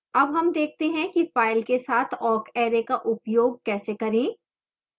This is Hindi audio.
awk हम देखते हैं कि file के साथ awk array का उपयोग कैसे करें